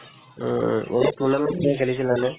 উম উম এই tournament যে খেলিছিলানে ?